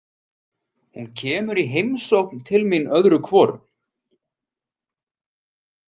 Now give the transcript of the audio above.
Hún kemur í heimsókn til mín öðru hvoru.